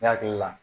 Ne hakili la